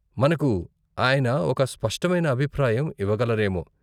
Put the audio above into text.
మనకు ఆయన ఒక స్పష్టమైన అభిప్రాయం ఇవ్వగలరేమో.